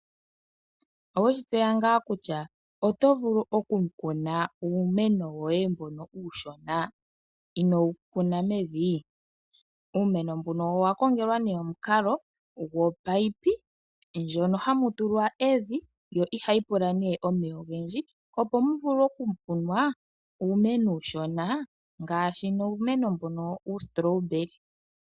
Oweshi tseya ngaa kutya otovulu okukuna uumeno woye mbono uushona inoo wu kuna mevi? Uumeno mbuno owakongelwa nee omukalo gwoomunino ngono hagu tulwa evi gwo ihagu pula nee omeya ogendji opo muvule okukunwa uumeno uushona, ngaashi uumeno mbono uustrawberry.